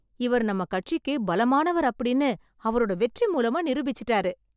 இவர் நம்ம கட்சிக்கு பலமானவர் அப்பிடின்னு அவரோட வெற்றி மூலமா நிரூபிச்சுட்டாரு